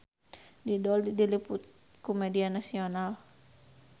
Dido diliput ku media nasional